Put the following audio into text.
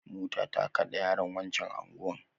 Mota ta kade yaron wancan anguwan